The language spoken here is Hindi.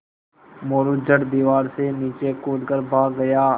मोरू झट दीवार से नीचे कूद कर भाग गया